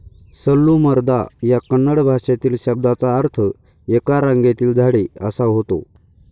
सल्लूमरदा या कन्नड भाषेतील शब्दाचा अर्थ 'एका रांगेतील झाडे ' असा होतो.